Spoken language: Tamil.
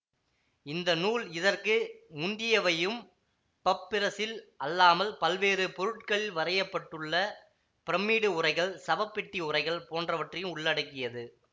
இந்த நூல் இதற்கு முந்தியவையும் பப்பிரசில் அல்லாமல் பல்வேறு பொருட்களில் வரையப்பட்டுள்ள பிரமிடு உரைகள் சவப்பெட்டி உரைகள் போன்றவற்றையும் உள்ளடக்கியது